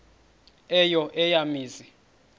eyo eya mizi